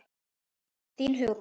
Þín, Hugrún.